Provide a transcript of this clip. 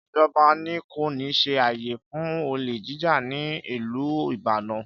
Ìjọbà ní; kọ ni sí àyé fún ọlé jíjà ni Ìlú ìbádàn